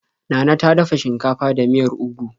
Nana ta dafa shinkafa da miyar ugu.